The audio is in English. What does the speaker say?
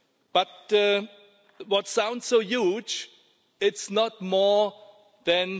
But what sounds so huge is not more than